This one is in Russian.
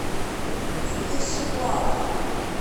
спешилав